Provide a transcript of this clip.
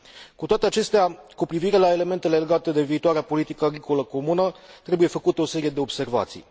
Cu toate acestea, cu privire la elementele legate de viitoarea politică agricolă comună, trebuie făcute o serie de observații.